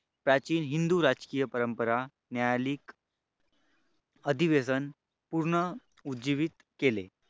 प्राचीन हिंदू राजकीय परंपरा न्यायालयिक अधिवेशन पुनरुज्जीवीत केले.